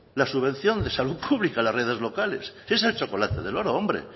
la subvención de salud pública en las redes locales que es el chocolate del oro hombre